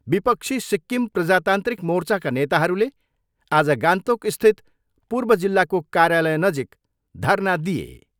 विपक्षी सिक्किम प्रजातान्त्रिक मोर्चाका नेताहरूले आज गान्तोकस्थित पूर्व जिल्लाको कार्यालयनजिक धरना दिए।